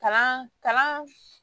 Kalan kalan